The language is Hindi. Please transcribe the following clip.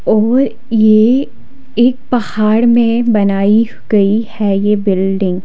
और ये एक पहाड़ में बनाई गई है ये बिल्डिंग ।